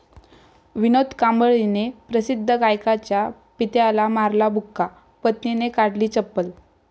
विनोद कांबळीने प्रसिद्ध गायकाच्या पित्याला मारला बुक्का, पत्नीने काढली चप्पल